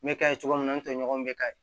N bɛ ka ye cogo min na an tɛ ɲɔgɔn bɛ ka